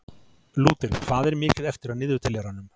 Lúter, hvað er mikið eftir af niðurteljaranum?